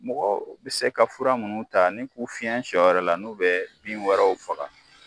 Mɔgɔ bɛ se ka fura minnu ta ni k'u fiɲɛ sɔ yɛrɛ la n'u bɛ bin wɛrɛw faga